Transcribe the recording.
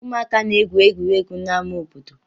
Ụmụaka na-egwu egwuregwu n'amá obodo.